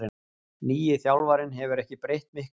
Nýi þjálfarinn hefur ekki breytt miklu